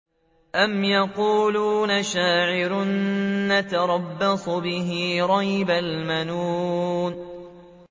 أَمْ يَقُولُونَ شَاعِرٌ نَّتَرَبَّصُ بِهِ رَيْبَ الْمَنُونِ